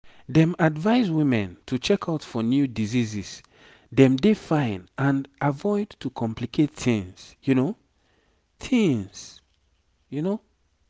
dem advise women to check out for new diseases dem dey fine and avoid to complicate tings tings